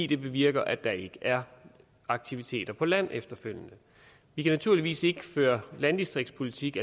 det bevirker at der ikke er aktiviteter på land efterfølgende vi kan naturligvis ikke føre landdistriktspolitik